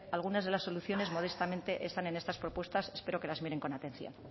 algunas de las soluciones modestamente están es estas propuestas espero que las miren con atención